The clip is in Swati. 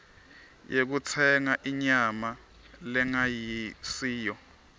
yekutsenga inyama lengasiyo